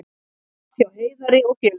Tap hjá Heiðari og félögum